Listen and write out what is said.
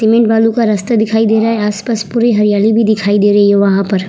Cement बालू का रास्ता दिखाई दे रहा है आस-पास पूरी हरयाली भी दिखाई दे रही है वहाँ पर।